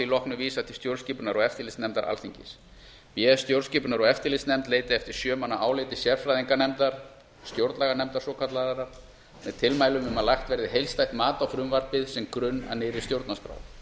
loknu vísað til stjórnskipunar og eftirlitsnefndar alþingis b stjórnskipunar og eftirlitsnefnd leiti eftir áliti sjö manna sérfræðinganefndar stjórnlaganefndar svokallaðrar með tilmælum um að lagt verði heildstætt mat á frumvarpið sem grunn að nýrri stjórnarskrá